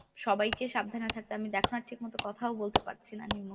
সবাইকে সাবধানে থাকতে আমি দেখনা ঠিকমত কথাও বলতে পারছিনা pneumonia